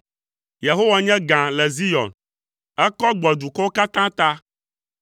Yehowa nye gã le Zion, ekɔ gbɔ dukɔwo katã ta.